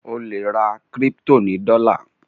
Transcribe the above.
o le rà crypto ní dola